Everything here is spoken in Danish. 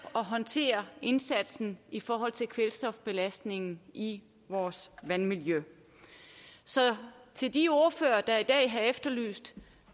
at håndtere indsatsen i forhold til kvælstofbelastningen i vores vandmiljø så til de ordførere der i dag har efterlyst